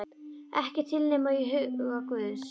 Ekki til nema í huga guðs.